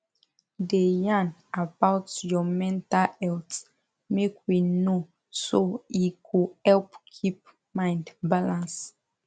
da yan about your mental healt make we know so e go help keep mind balance